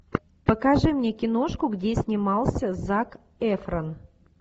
покажи мне киношку где снимался зак эфрон